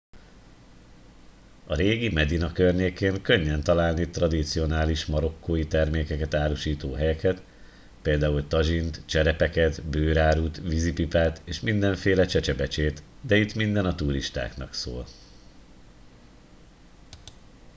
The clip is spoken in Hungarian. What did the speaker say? a régi medina környékén könnyen találni tradicionális marokkói termékeket árusító helyeket pl tazsint cserepeket bőrárut vízipipát és mindenféle csecsebecsét de itt minden a turistáknak szól